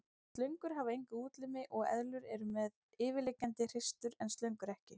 Slöngur hafa enga útlimi og eðlur eru með yfirliggjandi hreistur en slöngur ekki.